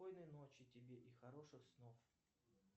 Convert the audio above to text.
спокойной ночи тебе и хороших снов